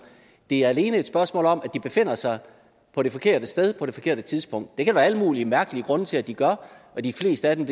det er alene et spørgsmål om at de befinder sig på det forkerte sted på det forkerte tidspunkt det kan der være alle mulige mærkelige grunde til at de gør og de fleste af dem